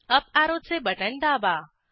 up ऍरोचे बटण दाबा